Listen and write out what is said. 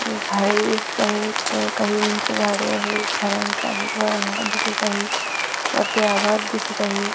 झाडे दिसताहेत काही उंच झाडे आहेत झाडांचा हिरवा रंग दिसत आहे वरती आभाळ दिसत आहे.